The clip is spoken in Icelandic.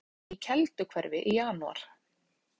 Í jarðskjálftahrinum í Kelduhverfi í janúar